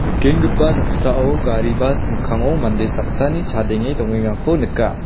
nikenggipa noksao gari bas mikkango mande saksani chadenge dongengako nika.